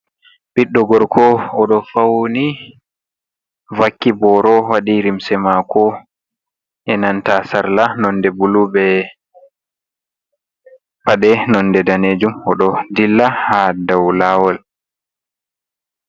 "Ɓiddo gorko" odo fauni vakki boro waɗi limse mako enanta sarla nonde bulu be paɗe nonde danejum o ɗo dilla ha dou lawol.